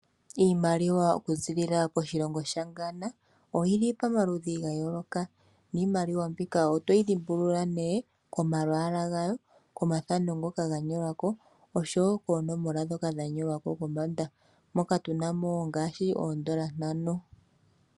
Iimaliwa oku ziilila koshilongo shaGhana, oyili pa maludhi ga yooloka thana, niimaliwa mbika otoyi dhimbulula nee ko.a lwaala gayo, ko mathano ngoka ga nyolwako, oshowo koonomala dhoka dha nyolwako kombanda moka tu namo ngaashi oodola 5.